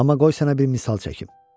Amma qoy sənə bir misal çəkim.